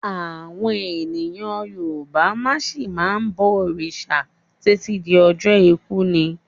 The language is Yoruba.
Àwọn èèyàn Yorùbá máa ṣì ma bọ̀ òrìṣà títí di ọjọ́ ikú ni.